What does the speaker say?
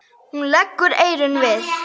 Hún leggur eyrun við.